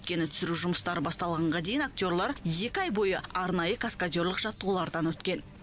өйткені түсіру жұмыстары басталғанға дейін актерлар екі ай бойы арнайы каскадерлік жаттығулардан өткен